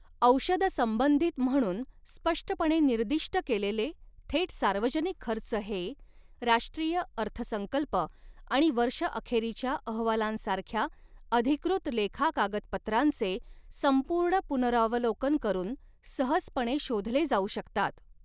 औषध संबंधित म्हणून स्पष्टपणे निर्दिष्ट केलेले थेट सार्वजनिक खर्च हे, राष्ट्रीय अर्थसंकल्प आणि वर्षअखेरीच्या अहवालांसारख्या अधिकृत लेखा कागदपत्रांचे संपूर्ण पुनरावलोकन करून सहजपणे शोधले जाऊ शकतात.